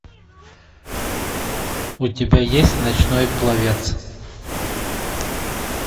у тебя есть ночной пловец